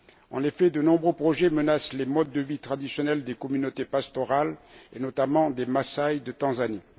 En effet, de nombreux projets menacent les modes de vie traditionnels des communautés pastorales, et notamment des Massaï de Tanzanie.